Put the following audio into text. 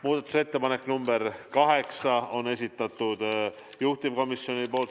Muudatusettepaneku nr 8 on esitanud juhtivkomisjon.